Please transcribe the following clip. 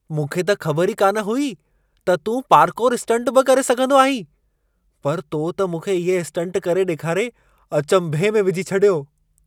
मूंखे त ख़बर ई कान हुई त तूं पार्कौर स्टंट बि करे सघंदो आहीं! पर तो त मूंखे इहे स्टंट करे ॾेखारे अचंभे में विझी छॾियो!